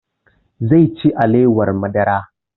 Zai ci alewar madara